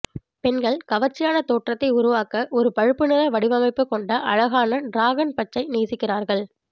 பெண்கள் கவர்ச்சியான தோற்றத்தை உருவாக்க ஒரு பழுப்பு நிற வடிவமைப்பு கொண்ட அழகான டிராகன் பச்சை நேசிக்கிறார்கள்